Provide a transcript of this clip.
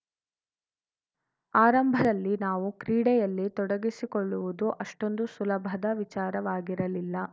ಆರಂಭದಲ್ಲಿ ನಾವು ಕ್ರೀಡೆಯಲ್ಲಿ ತೊಡಗಿಸಿಕೊಳ್ಳುವುದು ಅಷ್ಟೊಂದು ಸುಲಭದ ವಿಚಾರವಾಗಿರಲಿಲ್ಲ